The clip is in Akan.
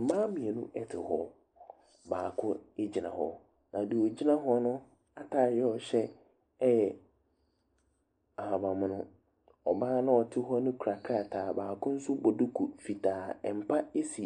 Mmaa mmienu te hɔ. Baako gyina hɔ, na deɛ ɔgyina hɔ no atadeɛ a ɔhyɛ yɛ ahabammono. Ɔbaa no a ɔte hɔ no kura krataa. Baako nso bɔ duku fitaa. Mpa si